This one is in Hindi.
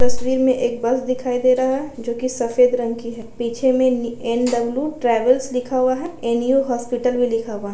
तस्वीर में एक बस दिखाई दे रहा जो की सफ़ेद रंग की है पीछे में एन.डब्लू. ट्रेवल्स लिखा हुआ है एन.यु. हॉस्पिटल भी लिखा हुआ --